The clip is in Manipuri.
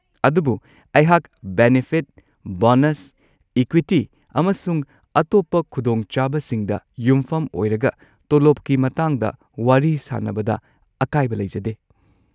ꯑꯗꯨꯕꯨ ꯑꯩꯍꯥꯛ ꯕꯦꯅꯤꯐꯤꯠ, ꯕꯣꯅꯁ, ꯏꯀ꯭ꯋꯤꯇꯤ, ꯑꯃꯁꯨꯡ ꯑꯇꯣꯞꯄ ꯈꯨꯗꯣꯡꯆꯥꯕꯁꯤꯡꯗ ꯌꯨꯝꯐꯝ ꯑꯣꯏꯔꯒ ꯇꯣꯂꯣꯞꯀꯤ ꯃꯇꯥꯡꯗ ꯋꯥꯔꯤ ꯁꯥꯅꯕꯗ ꯑꯀꯥꯏꯕ ꯂꯩꯖꯗꯦ꯫